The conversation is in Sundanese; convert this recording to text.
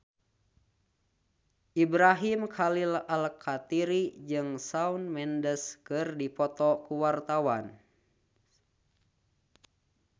Ibrahim Khalil Alkatiri jeung Shawn Mendes keur dipoto ku wartawan